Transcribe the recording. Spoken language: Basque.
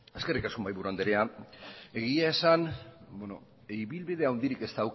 eskerrik asko mahaiburu andrea egia esan ibilbide handirik ez